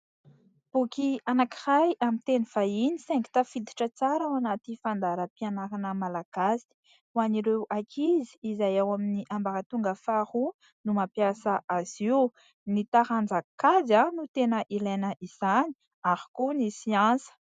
Boky anankiray amin'ny teny vahiny saingy tafiditra tsara ao anaty fandaharam-pianarana Malagasy. Ho an'ireo ankizy izay ao amin'ny ambaratonga faharoa no mampiasa azy io. Ny taranja kajy no tena ilaina izany ary koa ny siansa.